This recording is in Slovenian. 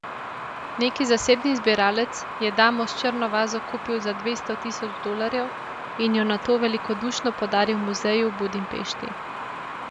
Neki zasebni zbiralec je Damo s črno vazo kupil za dvesto tisoč dolarjev in jo nato velikodušno podaril muzeju v Budimpešti.